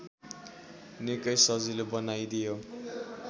निकै सजिलो बनाइदियो